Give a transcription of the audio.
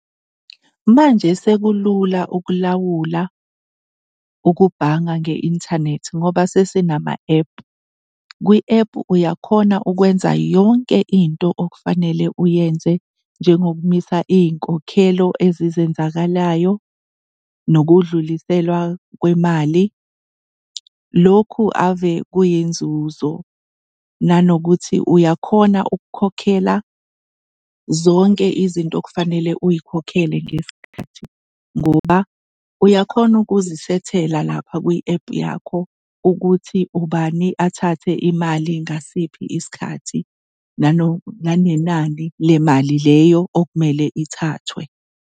Manje sekulula ukulawula ukubhanga nge-inthanethi ngoba sesinama ephu. Kwi-ephu uyakhona ukwenza yonke into okufanele uyenze, njengokubambisa iy'nkokhelo ezizenzakalayo, nokudluliselwa kwemali. Lokhu ave kwiyinzuzo, nanokuthi uyakhona ukukhokhela zonke izinto okufanele uy'khokhele ngesikhathi ngoba uyakhona ukuzisethela lapha kwi-ephu yakho ukuthi ubani athathe imali ngasiphi isikhathi nanenani lemali leyo okumele ithathwe.